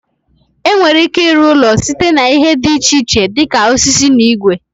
E nwere ike ịrụ ụlọ site n'ihe dị iche iche dịka osisi na igwe.